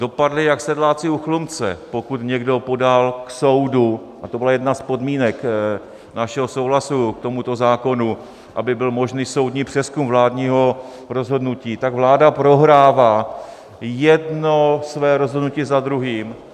Dopadli jak sedláci u Chlumce, pokud někdo podal k soudu, a to byla jedna z podmínek našeho souhlasu k tomuto zákonu, aby byl možný soudní přezkum vládního rozhodnutí, tak vláda prohrává jedno své rozhodnutí za druhým.